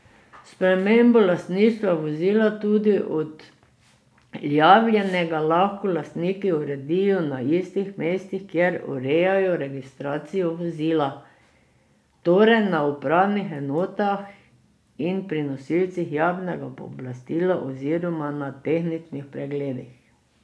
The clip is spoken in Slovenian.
Spremembo lastništva vozila, tudi odjavljenega, lahko lastniki uredijo na istih mestih, kjer urejajo registracijo vozila, torej na upravnih enotah in pri nosilcih javnega pooblastila oziroma na tehničnih pregledih.